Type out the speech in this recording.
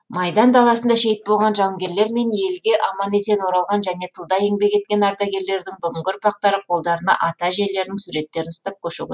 майдан даласында шейіт болған жауынгерлер мен елге аман есен оралған және тылда еңбек еткен ардагерлердің бүгінгі ұрпақтары қолдарына ата әжелерінің суреттерін ұстап көшеге